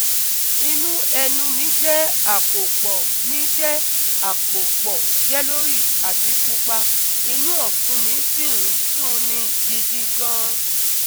Inú ẹnu mi jẹ́ àpòpọ̀ mi jẹ́ àpòpọ̀ yellowish àti pupa, inú ọ̀fun mi sì ń dunni gidi gan-an